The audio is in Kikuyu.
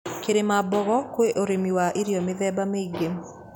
Kirimambogo kwĩ ũrĩmi wa irio mĩthemba mĩingĩ.